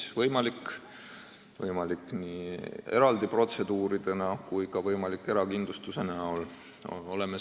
See on võimalik nii eraldi protseduure ostes kui ka erakindlustuse lepingut sõlmides.